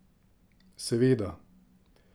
Seveda!